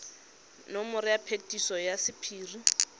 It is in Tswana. nomoro ya phetiso ya sephiri